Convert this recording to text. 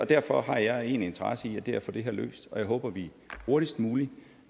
derfor har jeg én interesse i det og det er at få det her løst jeg håber at vi hurtigst muligt